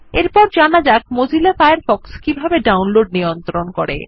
এরপর জানা যাক মোজিলা ফায়ারফক্স কিভাবে ডাউনলোড নিয়ন্ত্রণ করে